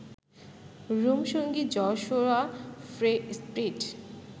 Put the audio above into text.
room সঙ্গী Joshua Fry speed